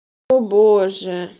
о боже